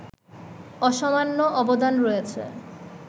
অসামান্য অবদান রয়েছে